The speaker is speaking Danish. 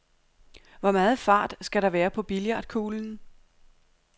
Hvor meget fart skal der være på billiardkuglen?